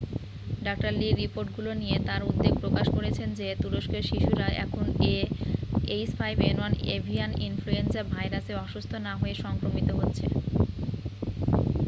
ডাঃ লি রিপোর্টগুলি নিয়ে তার উদ্বেগ প্রকাশ করেছেন যে তুরস্কের শিশুরা এখন ah5n1 এভিয়ান ইনফ্লুয়েঞ্জা ভাইরাসে অসুস্থ না হয়ে সংক্রামিত হচ্ছে।